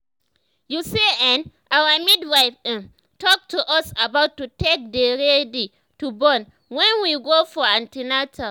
you see[um]our midwife ehm talk to us about to take dey ready to born wen we go for an ten atal